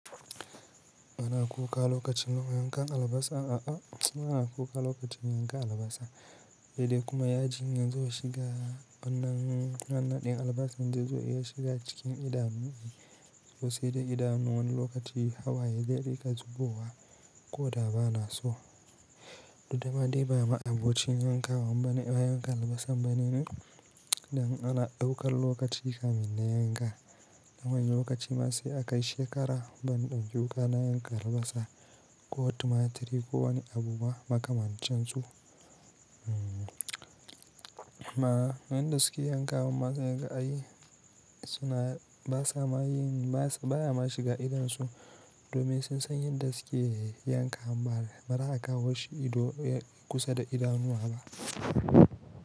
Ina kuka lokacin yanka albasa, a'a ina kuka lokacin yanka albasa, he dai kuma ya jin yazo zo shiga wannan wannan ɗin albasan, zai zo ya shiga cikin idanu, to sai da idanun wani lokaci hawaye zai rika zubowa ko da ba na so. Didda ma dai ba ma abocin yankawan bane ehh yanka albasa bane ni, dan ana ɗaukar lokaci kamun na yanka. Dan wani lokaci ma sai akai shekara ban ɗauki wuƙa na yanka albasa, ko tumatiri ko wani abu ba makamancin su. Ma yan da suke yankawan ma sai kaga ai suna basa ma yin baya ma shiga idonsu, domin sun san yanda dasuke yanka bara aka kawoshi ido kusa da idanuwa ba.